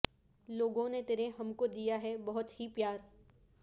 لوگوں نے تیرے ہمکو دیا ہے بہت ہی پیار